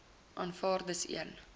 aanvaar dis een